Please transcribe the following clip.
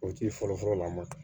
O tigi fɔlɔfɔlɔ la an ma